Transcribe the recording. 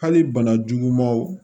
Hali bana jugumanw